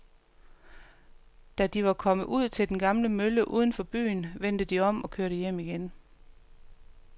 Da de var kommet ud til den gamle mølle uden for byen, vendte de om og kørte hjem igen.